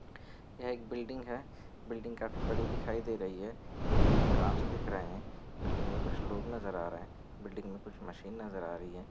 यहाँ एक बिल्डिंग है। बिल्डिंग काफी बड़ी दिखाई दे रही है। बिल्डिंग मे कांच दिख रहे है बिल्डिंग मे कुछ लोग नज़र आ रहे है बिल्डिंग मे कुछ मशीन नज़र आ रही है ।